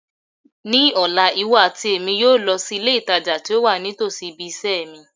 Ní ọ̀la, iwọ àti Èmi yóò lọ si ilé ìtajà ti o wa nítòsí ibiṣẹ́ mi